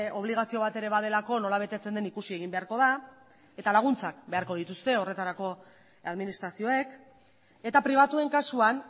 obligazio bat ere badelako nola betetzen den ikusi egin beharko da eta laguntzak beharko dituzte horretarako administrazioek eta pribatuen kasuan